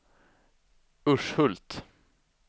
Urshult